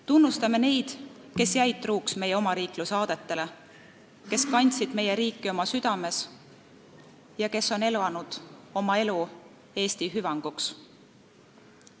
Tunnustame neid, kes jäid truuks meie omariikluse aadetele, kes kandsid meie riiki oma südames ja kes on elanud oma elu Eesti hüvanguks.